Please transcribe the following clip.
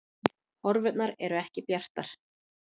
Horfurnar eru ekki bjartar